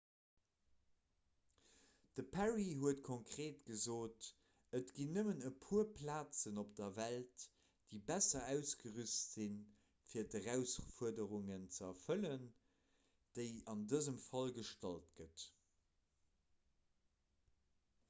de perry huet konkreet gesot et ginn nëmmen e puer plazen op der welt déi besser ausgerüst sinn fir d'erausfuerderung ze erfëllen déi an dësem fall gestallt gëtt